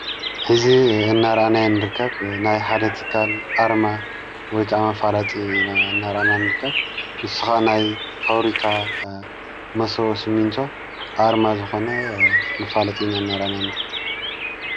ሕዚ እናርኣናይ ንርከብ ናይ ሓደ ቲካል ኣርማ ወይቃ መፋላጢ እናራኣና ን ንርከብ ንሱ ኻዓ ናይ ፋብሪካ መሶቦ ስሚንቶ ኣርማ ዝኾነ መፋለጢ ና እናራናን